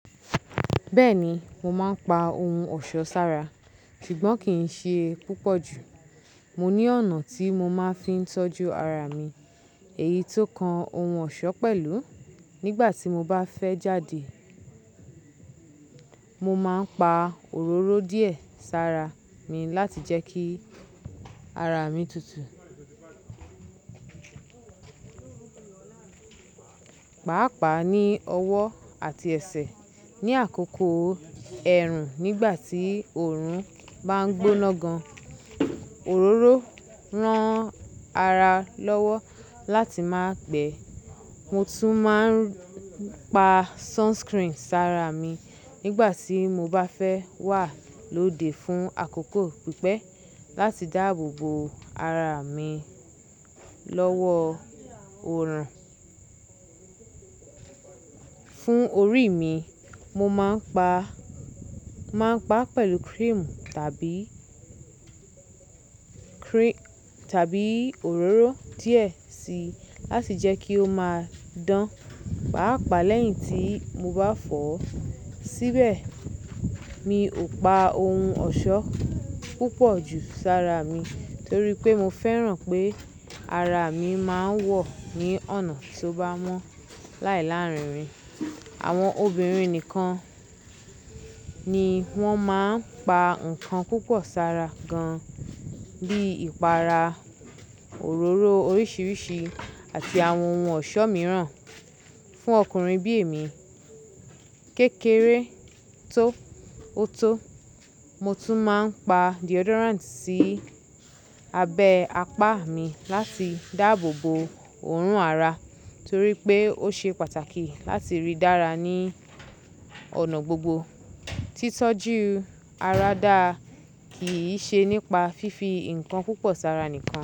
Bẹ́ẹ̀ni, mo máa ń pa ohun ọ̀ṣọ́ sára, ṣùgbọ́n kì í ṣe púpọ̀ jù. Mo ní ọ̀nà tí mo máa ń fi tọ́jú ara mi èyí tó kan ohun ọ̀ṣọ́ pẹ̀lú. Nígbà tí mo bá fẹ́ jáde, mo máa ń pa òróró díẹ̀ sára mi láti jẹ́ kí ara mi tutù, pàápàá ní ọwọ́ àti ẹsẹ̀ ní àkókò ẹ̀rùn nígbà tí òórùn bá ń gbóná gan. Òróró rán ara lọ́wọ́ láti má gbẹ́. Mo tún máa ń pa sunscreen sára mi nígbà tí mo bá fẹ́ wà lóde fún àkókò pípẹ́ láti dáàbò bo ara mi lọ́wọ́ òórùn. Fún orí mi, mo máa ń pa, máa ń pa pẹ̀lú cream tàbí, cream tàbí òróró díẹ̀ síi láti jẹ́ kí ó máa dán pàápàá lẹ́yìn tí mo bá fọ̀ ọ́ síbẹ̀. Mi ò pa ohun ọ̀ṣọ́ púpọ̀ jù sára mi torí pé mo fẹ́ràn pé ara mi máa ń wọ̀ ní ọ̀nà tó bá mọ́ láìláárínrin. Àwọn obìnrin nìkan ni wọ́n máa ń pa nǹkan púpọ̀ sára gan, bí ìpara, òróró oríṣiríṣi àti àwọn ohun ọ̀ṣọ́ mìíràn. Fún ọkùnrin bí èmi, kékeré tó ó tó, mo tún máa ń pa deodorant sí abẹ́ apá mi láti dáàbò bo òórùn ara torí pé ó ṣe pàtàkì láti rí dára ní ọ̀nà gbogbo. Tí tọ́jú ara dáa kì í ṣe nípa fífi nǹkan púpọ̀ sára nìkan.